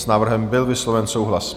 S návrhem byl vysloven souhlas.